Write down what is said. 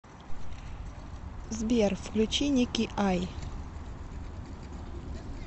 сбер включи ники ай